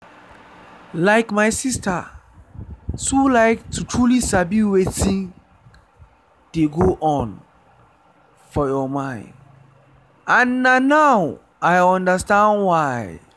like my sister too like to truly sabi wetin dey go on for your mind and na now i understand why.